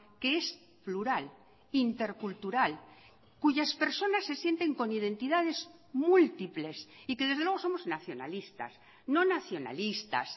que es plural intercultural cuyas personas se sienten con identidades múltiples y que desde luego somos nacionalistas no nacionalistas